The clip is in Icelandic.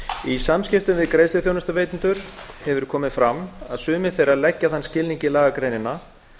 í samskiptum við greiðsluþjónustuveitendur hefur komið fram að sumir þeirra leggja þann skilning í lagagreinina